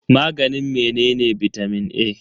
Maganin menene bitamin A?